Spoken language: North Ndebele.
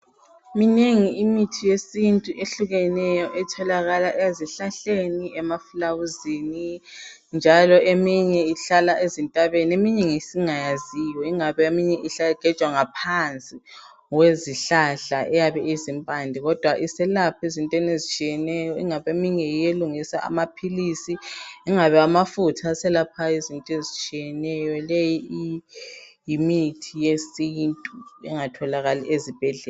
Minengi imithi yesintu ehlukeneyo etholakala ezihlahleni emafulawuzini njalo eminye ihlala ezintabeni eminye ngesingayaziyo ingabe eminye igejwa ngaphansi kwezihlahla iyabe izipande kodwa iselapha ezintweni ezitshiyeneyo ingabe eminye yiyo elungisa amaphilisi ingabe amafutha aselaphayo ezintweni ezitshiyeneyo leyi yimithi yesintu engatholakali ezibhedlela